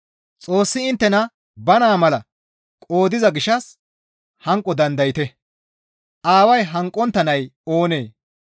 Xoossi inttena ba naa mala qoodiza gishshas hanqo dandayte; aaway hanqontta nay oonee?